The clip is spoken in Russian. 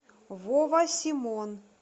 вова симон